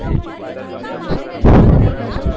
મેહસાણા ને પ્રોપેર મેહસાણા